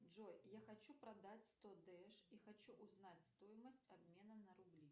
джой я хочу продать сто дэш и хочу узнать стоимость обмена на рубли